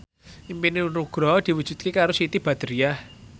impine Nugroho diwujudke karo Siti Badriah